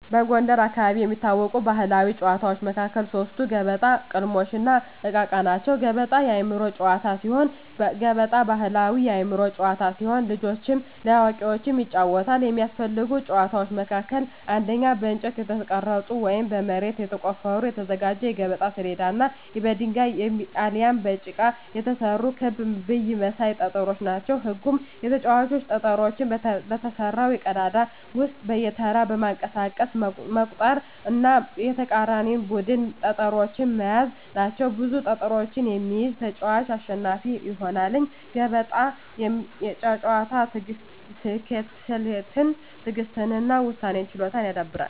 በጎንደር አካባቢ ከሚታወቁ ባሕላዊ ጨዋታዎች መካከል ሶስቱ ገበጣ፣ ቅልሞሽ፣ እና እቃ እቃ ናቸው። ገበጣ የአእምሮ ጨዋታ ሲሆን ገበጣ ባሕላዊ የአእምሮ ጨዋታ ሲሆን ለልጆችም ለአዋቂዎችም ይጫወታል። የሚያስፈልጉ እቃዎች መካከልም አንደኛ በእንጨት የተቀረጸ ወይም በመሬት ተቆፍሮ የተዘጋጀ የገበጣ ሰሌዳ እና የድንጋይ አሊያም ከጭቃ የተሰሩ ክብ ብይ መሳይ ጠጠሮች ናቸው። ህጉም ተጫዋቾች ጠጠሮቹን በተሰራው ቀዳዳ ውስጥ በየተራ በማንቀሳቀስ መቁጠር እና የተቃራኒን ቡድን ጠጠሮች መያዝ ናቸው። ብዙ ጠጠሮችን የሚይዝ ተጫዋች አሸናፊ ይሆናል። የገበጣ ጨዋታ ስሌትን፣ ትዕግሥትን እና የውሳኔ ችሎታን ያዳብራል።